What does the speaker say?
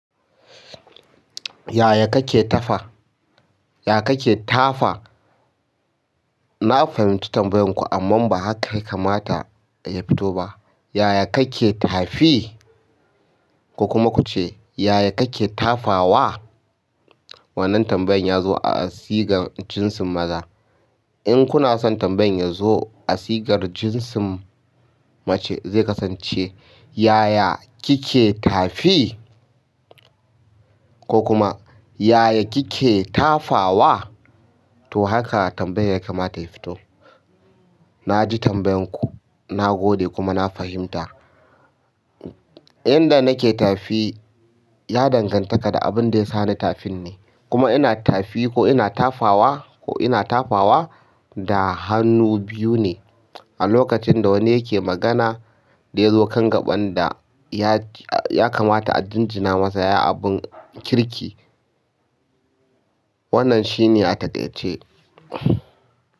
Yaya kake tafa? Yaya kake tafa? Na fahimci tambayan ku amma ba haka ya kamata ya fito ba. Yaya kake tafi? Ko kuma kuce yaya kake tafawa? Wannan tambayan ya zo a sigar jinsin maza. In kuna son tambayan ya zo a asigar jinsin mace zai kasance, yaya kike tafi? Ko kuma yaya kike tafawa? To haka tambayan ya kamata ya fito. Na ji tambayan ku, na gode kuma na fahimta. Inda nake tafi ya danganta da abin da ya sa ni tafin ne. Kuma ina tafi ko ina tafawa ko ina tafawa da hannu biyu ne. A lokacin da wani yake magana da ya zo kan gaɓan da ya kamata a jinjina masa ya yi abin kirki. Wannan shi ne a taƙaice.